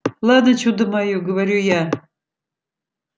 ладно чудо моё говорю я